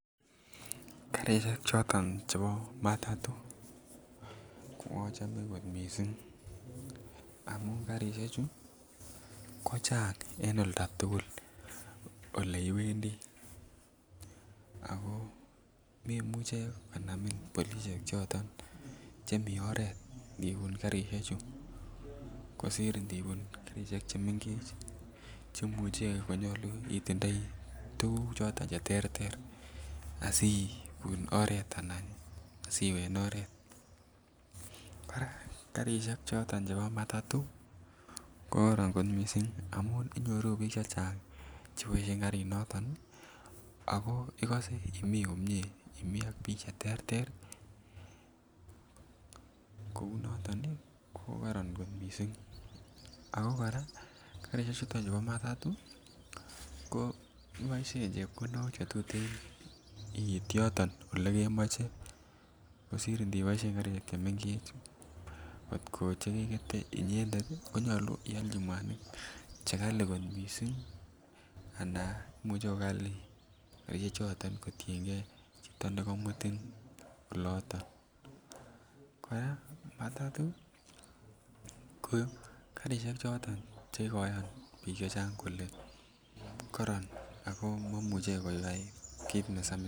Karisiek choton chebo matato achome kot mising amun karisyechu kochang en oldo tugul Ole iwendi ako memuche konamin polisiek choto chemi oret ndibun karisyechu kosir ndibun karisiek chemengech Che imuche konyolu itindoi tuguk choton Che terter asi ibun oret anan asi iwe en oret karisiek chebo matato ko kororon kot mising amun inyoru bik chechang Che boisien Karinato ago igose Imii komie Imii ak bik Che terter kou noto ko koron kot mising ako kora karisyechu chuto chebo matato iboisien chepkondok Che tuten iit yoton olekemoche kosir ndibosien karisiek chemengech Che ndegete inyendet konyolu ialji mwanik Che kali Anan imuche ko kali karisyechoto kotienge chito nekomutin oloto kora matato ko karisiek Che kikoyan bik chechang kole koron ak maimuche koyai kit neya.